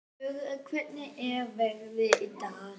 Dögg, hvernig er veðrið í dag?